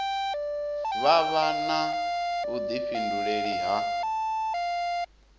vha vha na vhuḓifhinduleli ha